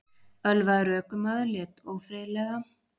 Ölvaður ökumaður lét ófriðlega